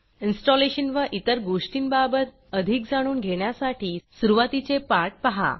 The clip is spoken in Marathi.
इन्स्टॉलेशन व इतर गोष्टींबाबत अधिक जाणून घेण्यासाठी सुरूवातीचे पाठ पहा